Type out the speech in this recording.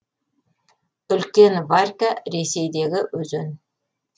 үлкен варька ресейдегі өзен